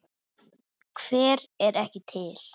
Hver er ekki til?